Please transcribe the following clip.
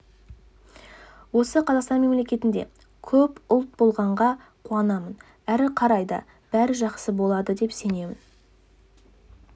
осы қазақстан мемлекетінде көп ұлт болғанға қуанамын әрі қарай да бәрі жақсы болады деп сенемін